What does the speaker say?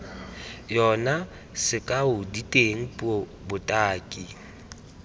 yona sekao diteng puo botaki